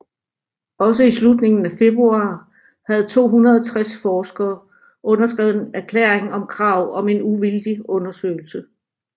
Også i slutningen af februar havde 260 forskere underskrevet en erklæring om krav om en uvildig undersøgelse